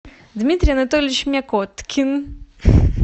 дмитрий анатольевич мякоткин